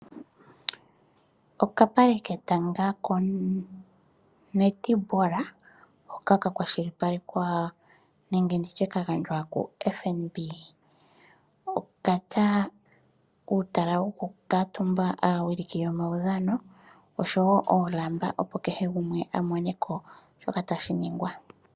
Okapale ketanga ko netball hoka ka kwashilipalekwa nenge ka gandjwa ku Fnb okatya uutala woku kuuntumba aawiliki yomawudhano oshowo oolamba opo kehe gumwe a moneko shoka tashi ningwa.